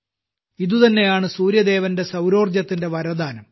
ഇതുതന്നെയാണ് സൂര്യദേവന്റെ സൌരോർജ്ജത്തിന്റെ വരദാനം